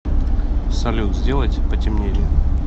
салют сделать потемнее